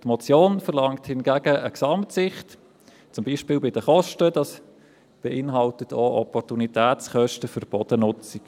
Die Motion verlangt hingegen eine Gesamtsicht, zum Beispiel beinhalten die Kosten auch Opportunitätskosten für die Bodennutzung.